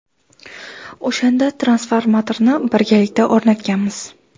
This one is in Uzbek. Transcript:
O‘shanda transformatorni birgalikda o‘rnatganmiz.